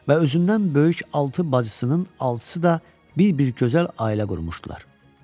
Və özündən böyük altı bacısının altısı da bir-birindən gözəl ailə qurmuşdular.